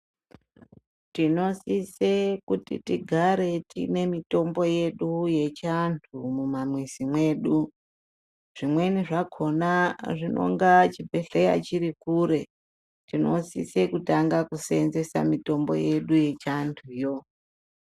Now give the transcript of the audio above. Tinosise kuti tigare tiine mitombo yedu yechivantu mumamwizi mwedu zvimweni zvakona zvinonga chibhedhleya chiri kure tinosise kutanga kuseenzesa mitombo yedu yechivantu yoo.